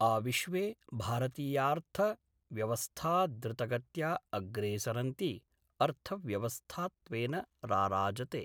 आविश्वे भारतीयार्थव्यवस्था द्रुतगत्या अग्रेसरन्ती अर्थव्यवस्थात्वेन राराजते।